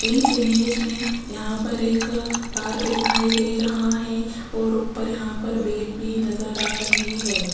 इस इमेज में यहां पर एक पार्क दिखाई दे रहा है और ऊपर यहां पर बेल भी नजर आ रही है।